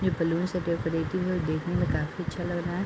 Balloon से decorative है देखने में काफी अच्छा लग रहा है।